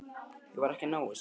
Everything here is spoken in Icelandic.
Ég var ekki að ná þessu.